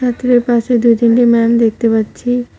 পাশে দুই তিনটি ম্যাম দেখতে পাচ্ছি।